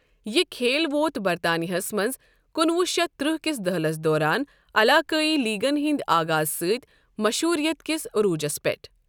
یہِ کھیل ووت برطانِیاہس منٛز کُنہٕ وُہ شتھ ترٕہ كِس دہِلِس دوران علاقٲیی لیٖگن ہِنٛدِ آغازٕ سۭتۍ مشہوٗرِیت کِس عٔروٗجس پیٚٹھ۔